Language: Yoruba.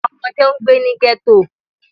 Awọn ọmọde n gbe ni ghetto.